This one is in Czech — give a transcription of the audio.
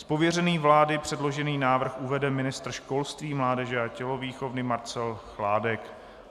Z pověření vlády předložený návrh uvede ministr školství, mládeže a tělovýchovy Marcel Chládek.